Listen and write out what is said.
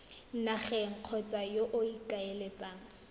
nageng kgotsa yo o ikaeletseng